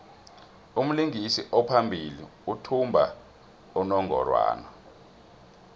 umlingisi ophambili uthumba unongorwand